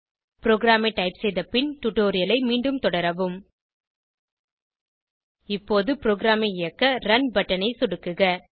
ப்ரோகிராமை டைப் செய்த பின் டுடோரியலை மீண்டும் தொடரவும் இப்போது ப்ரோகிராமை இயக்க ரன் பட்டன் ஐ சொடுக்குக